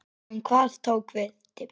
En hvað tók við?